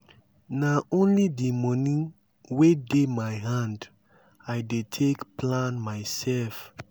nah only di moni wey dey my hand i dey take plan mysef.